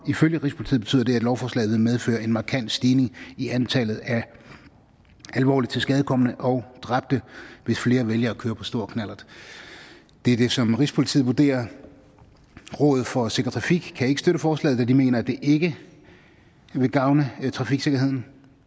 og ifølge rigspolitiet betyder det at lovforslaget vil medføre en markant stigning i antallet af alvorligt tilskadekomne og dræbte hvis flere vælger at køre på stor knallert det er det som rigspolitiet vurderer rådet for sikker trafik kan ikke støtte forslaget da de mener at det ikke vil gavne trafiksikkerheden